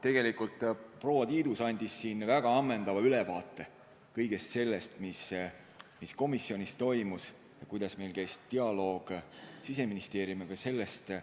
Tegelikult andis proua Tiidus väga ammendava ülevaate kõigest sellest, mis komisjonis toimus ja kuidas meil Siseministeeriumiga dialoog käis.